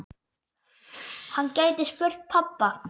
Hann gæti spurt pabba.